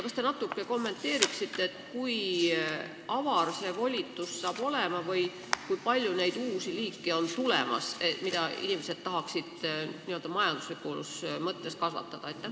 Kas te natuke kommenteeriksite, kui laia ulatusega see volitus saab olema ja kui palju neid uusi liike on tulemas, mida inimesed ehk tahavad n-ö majanduslikus mõttes kasvatada?